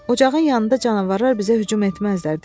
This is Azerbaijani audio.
Ocağın yanında canavarlar bizə hücum etməzdilər,